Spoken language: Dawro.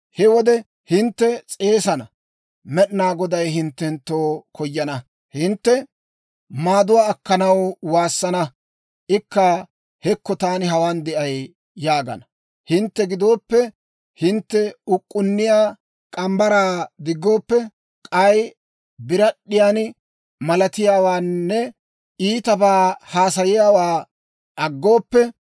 He wode hintte s'eesana; Med'inaa Goday hinttenttoo koyana. Hintte maaduwaa akkanaw waassana; Ikka, ‹Hekko, taani hawaan de'ay!› yaagana. «Hintte giddoppe hintte uk'k'unniyaa morgge mitsaa diggooppe, k'ay birad'd'iyaan malaatiyaawaanne iitabaa haasayiyaawaa aggooppe,